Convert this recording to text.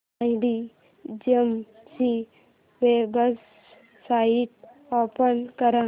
Mindgym ची website open कर